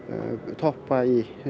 toppa í